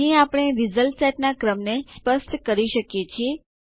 અહીં આપણે result set નાં ક્રમને સ્પષ્ટ કરી શકીએ છીએ